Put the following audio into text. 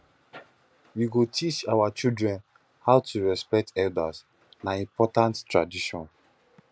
we go teach our children how to respect elders na important tradition